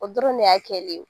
O dɔrɔn de y'a kɛli ye.